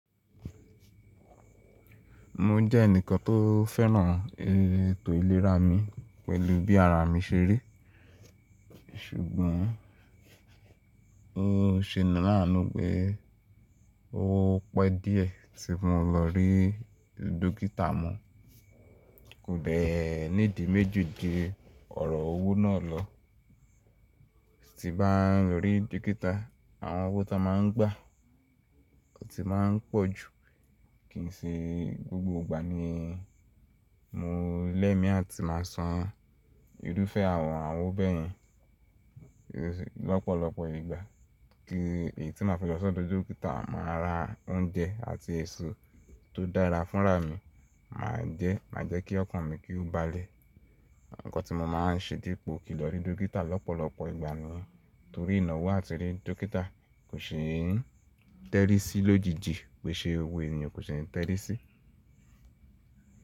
Mo jẹ́ ẹnìkan tó fẹ́ràn ètò ìlera mi pẹ̀lú bí ara mi ṣe rí. Ṣùgbọ́n ó ṣe ni láàánú pé ó pẹ́ díẹ̀ tí mo lọ rí dókítà mọ́. Kò deè ní ìdí méjì ju ọ̀rọ̀ owó náà lọ. Ti bá ń lọ rí dókítà, àwọn owó tó máa ń gbà ti máa ń pọ̀ jù. Kìí ṣe gbogbo ìgbà ni mo lẹ́mi àti máa san irúfẹ́ àwọn àwọn owó bẹ́ẹ̀ yẹn. Lọ́pọ̀lọpọ̀ ìgbà kí èyí tí máa fi lọ́sọ̀ọ́ dókítà, màá ra oúnjẹ àti èso tó dára fúnra mi, màá jẹ́, màá jẹ́ kí ọkàn mi kí ó balẹ̀. Ǹkan tí mo máa ń ṣe dípò kí lọ rí dókítà lọ́pọ̀lọpọ̀ ìgbà ni torí ìnáwó àti rí dókítà kò ṣe é tẹ́rí sí ló jiji, wẹ̀ ṣe owó ènìyàn kò ṣe ń tẹ́rí sí.